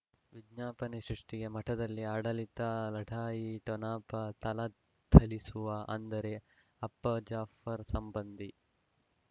ವಿಜ್ಞಾಪನೆ ಸೃಷ್ಟಿಗೆ ಮಠದಲ್ಲಿ ಆಡಳಿತ ಲಢಾಯಿ ಠೊಣಪ ಥಳಥಳಿಸುವ ಅಂದರೆ ಅಪ್ಪ ಜಾಫರ್ ಸಂಬಂಧಿ